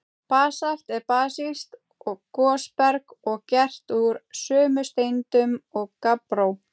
Basalt er basískt gosberg og gert úr sömu steindum og gabbró.